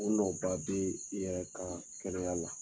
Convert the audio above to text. U nɔ ba bɛ i yɛrɛ kalan kɛnɛya la